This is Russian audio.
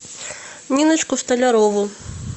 ниночку столярову